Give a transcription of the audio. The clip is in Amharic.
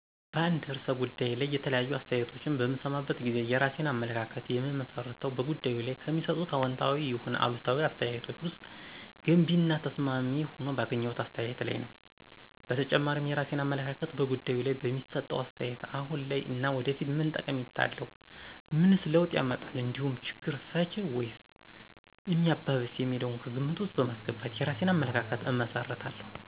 በአንድ ርዕሰ ጉዳይ ላይ የተለያዩ አስተያየቶችን በምሰማበት ጊዜ የራሴን አመለካከት የምመሰርተው በጉዳዩ ላይ ከሚሰጡት አዎንታዊ ይሁን አሉታዊ አስተያየቶች ውስጥ ገንቢ እና ተስማሚ ሆኖ ባገኘሁት አስተያየት ላይ ነዉ። በተጨማሪም የራሴን አመለካከት በጉዳዩ ላይ በሚሰጠው አስተያየት አሁን ላይ እና ወደፊት ምን ጠቀሜታ አለው፣ ምንስ ለውጥ ያመጣል እንዲሁም ችግር ፈች ነዉ ወይስ ሚያባብስ የሚለውን ከግምት ውስጥ በማስገባት የራሴን አመለካከት እመሰርታለሁ።